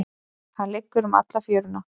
Hann liggur um alla fjöruna.